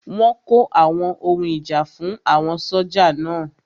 Wọ́n kó àwọn ohun ìjà fún àwọn sójà náà